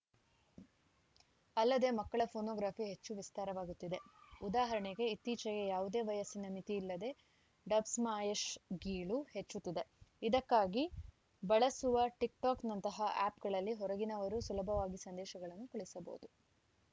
ಅಲ್ಲದೆ ಮಕ್ಕಳ ಫೋನೋಗ್ರಾಫಿ ಹೆಚ್ಚು ವಿಸ್ತಾರವಾಗುತ್ತಿದೆ ಉದಾಹರಣೆಗೆ ಇತ್ತೀಚೆಗೆ ಯಾವುದೇ ವಯಸ್ಸಿನ ಮಿತಿ ಇಲ್ಲದೆ ಡಬ್‌ಸ್ಮಾ್ಯಶ್‌ ಗೀಳು ಹೆಚ್ಚುತ್ತಿದೆ ಇದಕ್ಕಾಗಿ ಬಳಸುವ ಟಿಕ್‌ಟಾಕ್‌ನಂತಹ ಆ್ಯಪ್‌ಗಳಲ್ಲಿ ಹೊರಗಿನವರೂ ಸುಲಭವಾಗಿ ಸಂದೇಶಗಳನ್ನು ಕಳುಹಿಸಬಹುದು